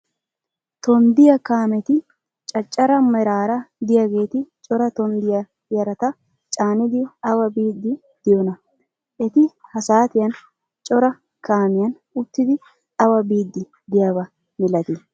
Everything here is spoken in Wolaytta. Tonddiya kaameti caccara meraara de'iyageeti cora tonddiya yarata caanidi awa biiddi de'iyonaa? Eti ha saatiyan cora kaamiyan uttidi awa biiddi de'iyaba milatii?